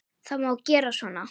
Það má gera svona